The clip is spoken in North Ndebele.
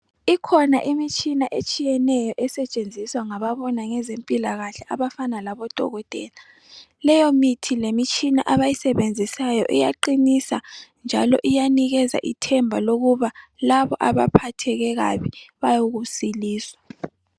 Ikhona imitshina etshiyatshiyeneyo esetshenziswa ngababona ngezempilakahle abafana labodokotela. Leyo mithi lemitshina abayisebenzisayo iyaqinisa njalo iyanikeza ithemba lokuba labo abaphathekileyo bayokusiliswa